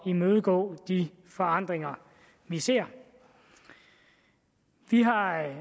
imødegå de forandringer vi ser vi har her